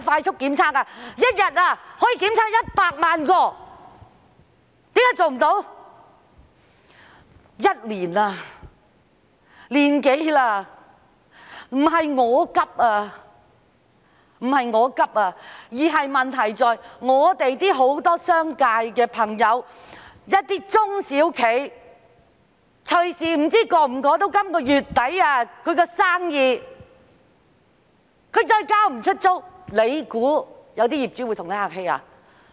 疫情已經持續1年多了，不是我焦急，問題在於很多商界朋友和一些中小企隨時無法捱過本月底，他們要是無法交租，當局以為業主會跟他們客氣嗎？